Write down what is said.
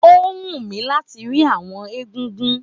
Ó wú mi láti rí àwọn egúngún